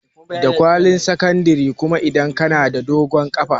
Da kwalin sakandare kuma idan ka na da dogon ƙafa